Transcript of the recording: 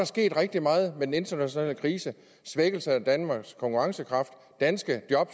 sket rigtig meget den internationale krise svækkelse af danmarks konkurrencekraft danske job